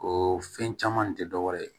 O fɛn caman tɛ dɔ wɛrɛ ye